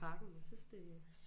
Parken jeg synes det